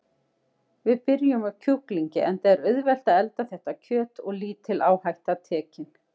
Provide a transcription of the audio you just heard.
Við byrjum á kjúklingi enda er auðvelt að elda þetta kjöt og lítil áhætta tekin.